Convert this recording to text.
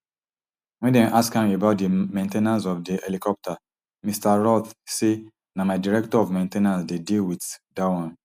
wen dem ask am about di main ten ance of di helicopter mr roth say na my director of main ten ance dey deal with dat wan